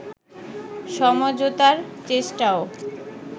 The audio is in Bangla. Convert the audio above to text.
সমঝোতার চেষ্টাও